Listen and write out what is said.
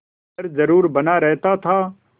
डर जरुर बना रहता था